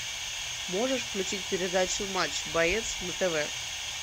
можешь включить передачу матч боец на тв